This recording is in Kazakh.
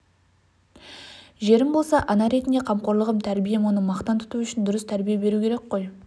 жерім болса ана ретінде қамқорлығым тәрбием оны мақтан тұту үшін дұрыс тәрбие беру керек қой